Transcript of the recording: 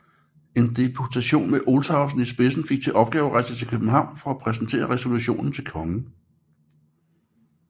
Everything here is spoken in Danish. En deputation med Olshausen i spidsen fik til opgave at rejse til København for at præsentere resolutionen til kongen